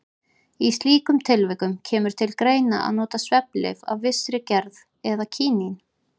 Í slíkum tilvikum kemur til greina að nota svefnlyf af vissri gerð eða kínín.